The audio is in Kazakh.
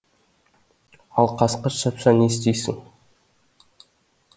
ал қасқыр шапса не істейсің